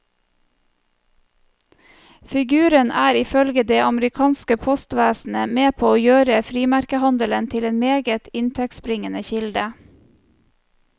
Figuren er ifølge det amerikanske postvesenet med på å gjøre frimerkehandelen til en meget inntektsbringende kilde.